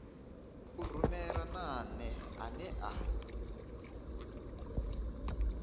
u rumelwa nane ane a